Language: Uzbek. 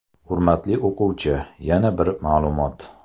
Hurmatli o‘quvchi, yana bir ma’lumot.